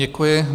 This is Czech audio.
Děkuji.